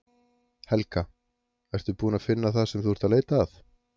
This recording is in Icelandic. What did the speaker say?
Helga: Ertu búin að finna það sem þú ert að leita að?